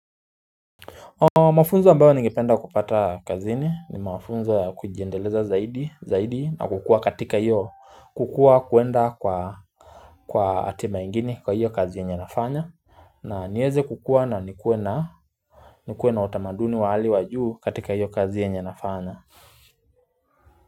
Mwafunzo ambayo ningipenda kupata kazini ni mawafunzo kujiendeleza zaidi na kukua katika iyo kukua kuenda kwa atima ingini kwa iyo kazi ya nyenafanya na nieze kukua na nikue na utamaduni wa hali wajuu katika iyo kazi ya nyenafanya.